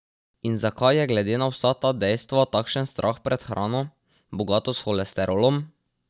In zakaj je glede na vsa ta dejstva takšen strah pred hrano, bogato s holesterolom?